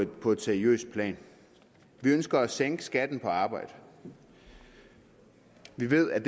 på et seriøst plan vi ønsker at sænke skatten på arbejde vi ved at